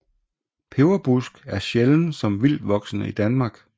Peberbusk er sjælden som vildtvoksende i Danmark